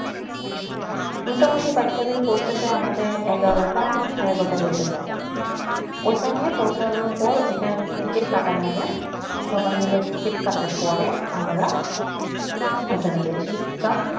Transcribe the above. মোটামুটি বাক্যবিল পৌছাতে আমাদের এঘরটা সারীগরটা বাজয়ে যায় য়ইখানে পৌছন্ন পর টিকিট কাটা লাগে সবাই মিলে টিকিট কাতার পর আমরা ঐখানে যায়